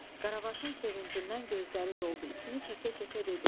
Qaravaşın sevincindən gözləri doldu, içini çəkə-çəkə dedi: